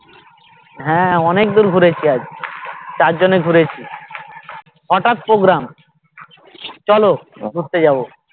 হ্যাঁ অনেকদূর ঘুরেছি আজ চার জনে ঘুরেছি হটাৎ program চলো ঘুরতে যাবো